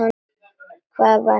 Hvað var hann að segja?